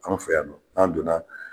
Anw fɛ yan nɔn an donna